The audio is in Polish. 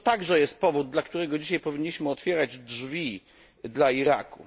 To także jest powód, dla którego dzisiaj powinniśmy otwierać drzwi dla Iraku.